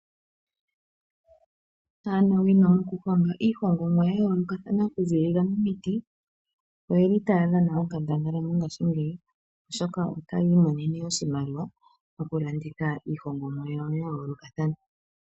Aanawino mokuhonga iihongomwa ya yoolokathana okuziilila miiti oyeli taya dhana onkandangala mongaashingeyi oshoka otaya imonene oshimaliwa moku landitha iihongomwa yawo ya yoolokathana.